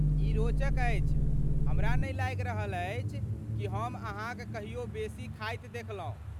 ई रोचक अछि, हमरा नहि लागि रहल अछि कि हम अहाँक कहियो बेसी खायत देखलहुँ।